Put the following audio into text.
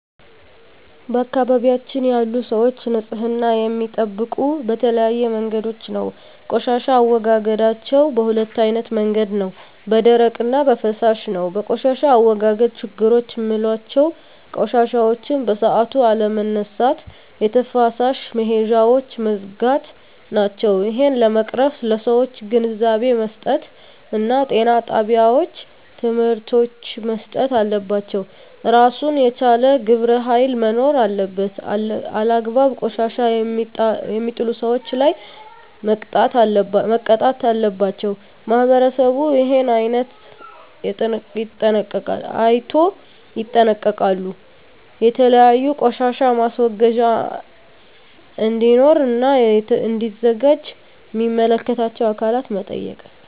በአካባቢያችን ያሉ ሰዎች ንፅህና የሚጠብቁ በተለያዩ መንገዶች ነው ቆሻሻ አወጋገዳቸዉ በ2አይነት መንገድ ነው በደረቅ እና በፍሳሽ ነው በቆሻሻ አወጋገድ ችግሮች ምላቸው ቆሻሻዎችን በሠአቱ አለመነሳት የተፋሰስ መሄጃውች መዝጋት ናቸው እሄን ለመቅረፍ ለሠዎች ግንዛቤ መስጠት እና ጤና ጣቤዎች ትምህርቶች መሰጠት አለባቸው እራሱን የቻለ ግብረ ሀይል መኖር አለበት አላግባብ ቆሻሻ የሜጥሉ ሠዎች ላይ መቅጣት አለባቸው ማህበረሠቡ እሄን አይነቶ ይጠነቀቃሉ የተለያዩ ቆሻሻ ማስወገጃ እዴኖሩ እና እዲዘጋጁ ሚመለከታቸው አካላት መጠየቅ